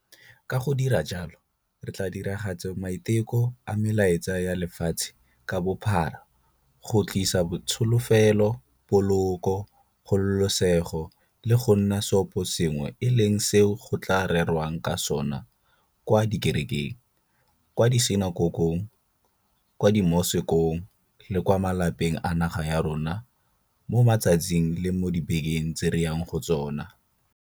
Ka go dira jalo re tla diragatsa maiteko a melaetsa ya lefatshe ka bophara ya go tlisa tsholofelo, poloko, kgololesego le go nna seoposengwe e leng seo go tla rerwang ka sona kwa dikerekeng, kwa disinakokong, kwa dimosekong le kwa malapeng a naga ya rona mo matsatsing le mo dibekeng tse re yang mo go tsona.